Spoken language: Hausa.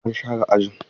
An share ajin?